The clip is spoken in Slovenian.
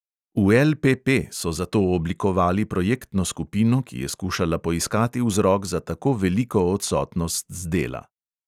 V LPP so zato oblikovali projektno skupino, ki je skušala poiskati vzrok za tako veliko odsotnost z dela.